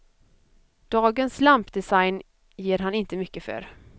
Dagens lampdesign ger han inte mycket för.